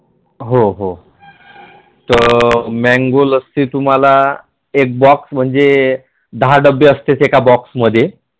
हो हो अह Mango लस्सी तुम्हाला एक Box मध्ये दहा डब्बी असतात एका Box मध्ये